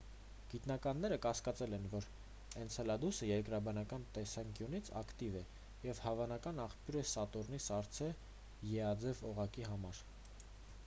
գիտնականները կասկածել են որ էնցելադուսը երկրաբանական տեսանկյունից ակտիվ է և հավանական աղբյուր է սատուրնի սառցե e-աձև օղակի համար: